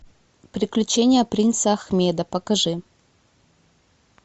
приключения принца ахмеда покажи